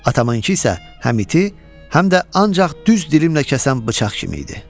Atamınkı isə həm iti, həm də ancaq düz dilimlə kəsən bıçaq kimi idi.